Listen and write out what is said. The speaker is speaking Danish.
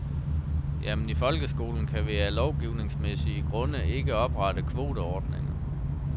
Jamen i folkeskolen kan vi af lovgivningsmæssige grunde ikke oprette kvoteordninger.